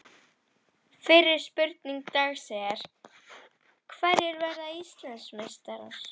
Fyrri spurning dagsins er: Hverjir verða Íslandsmeistarar?